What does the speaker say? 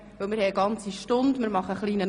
Wir werden eine ganze Stunde unterwegs sein.